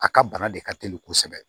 A ka bana de ka teli kosɛbɛ